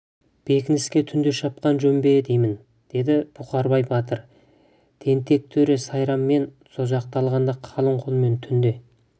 бекініске түнде шапқан жөн бе деймін деді бұқарбай батыр тентек төре сайрам мен созақты алғанда қалың қолмен түнде